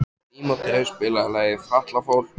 Tímóteus, spilaðu lagið „Fatlafól“.